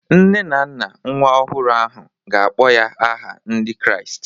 Nne na nna nwa ọhụrụ ahụ ga-akpọ ya aha Ndị Kraịst